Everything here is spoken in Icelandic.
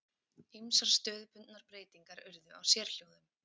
Ýmsar stöðubundnar breytingar urðu á sérhljóðum.